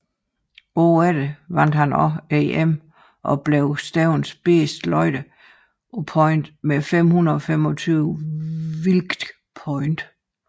Året efter vandt han også EM og blev stævnets bedste løfter på point med 525 wilk point